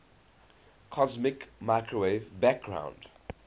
cosmic microwave background